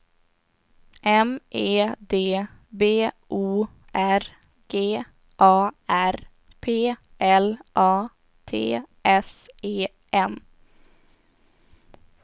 M E D B O R G A R P L A T S E N